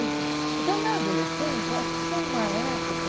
Enfim então, na adolescência, acho que foi uma época...